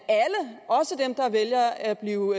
vælger at blive